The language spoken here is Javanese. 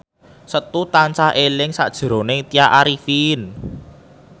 Setu tansah eling sakjroning Tya Arifin